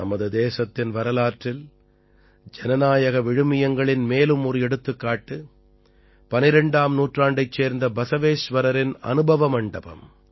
நமது தேசத்தின் வரலாற்றில் ஜனநாயக விழுமியங்களின் மேலும் ஒரு எடுத்துக்காட்டு 12ஆம் நூற்றாண்டைச் சேர்ந்த பஸவேஷ்வரரின் அனுபவ மண்டபம்